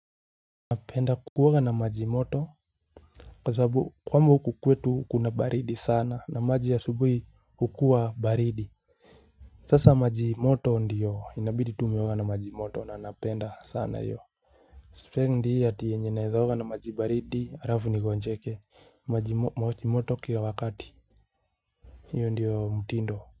Na maji moto kwa sababu kwamba huku kwetu kuna baridi sana na maji ya asubuhi hukua baridi sasa maji moto ndiyo inabidi tu umeoga na maji moto na napenda sana hiyo spendi ati yenye naeza oga na maji baridi arafu ni kogonjeke maji moto kila wakati hiyo ndiyo mtindo.